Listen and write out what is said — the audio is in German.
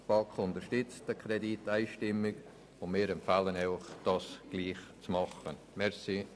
Wie eingangs erwähnt, unterstützt die BaK diesen Kredit einstimmig und empfiehlt Ihnen, dies gleichermassen zu tun.